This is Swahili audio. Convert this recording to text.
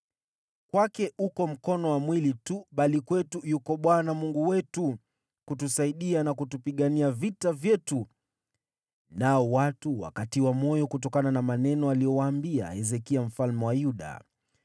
Kwake uko mkono wa mwili tu, bali kwetu yuko Bwana Mungu wetu kutusaidia na kutupigania vita vyetu.” Nao watu wakatiwa moyo kutokana na maneno aliyowaambia Hezekia mfalme wa Yuda.